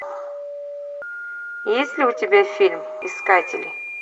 есть ли у тебя фильм искатели